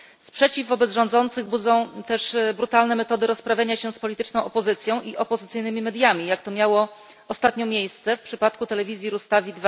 Sprzeciw wobec rządzących budzą też brutalne metody rozprawiania się z polityczną opozycją i opozycyjnymi mediami jak to miało ostatnio miejsce w przypadku telewizji Rustavi